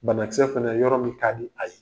Banakisɛ fɛnɛ yɔrɔ min kaadi a ye